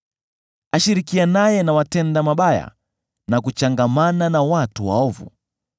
Ashirikianaye na watenda mabaya na kuchangamana na watu waovu.